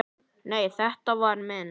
Nei, þetta var minn